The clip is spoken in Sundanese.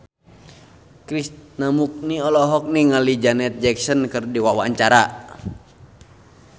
Krishna Mukti olohok ningali Janet Jackson keur diwawancara